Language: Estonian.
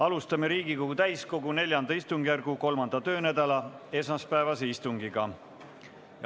Alustame Riigikogu täiskogu IV istungjärgu 3. töönädala esmaspäevast istungit.